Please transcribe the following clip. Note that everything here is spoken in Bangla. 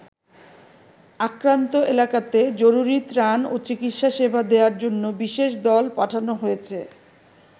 আক্রান্ত এলাকাতে জরুরী ত্রাণ ও চিকিৎসা সেবা দেয়ার জন্য বিশেষ দল পাঠানো হয়েছে।